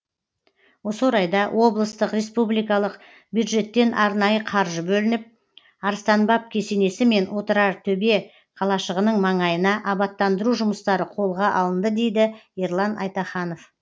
осы орайда облыстық республикалық бюджеттен арнайы қаржы бөлініп арыстанбаб кесенесі мен отырартөбе қалашығының маңайына абаттандыру жұмыстары қолға алынды дейді ерлан айтаханов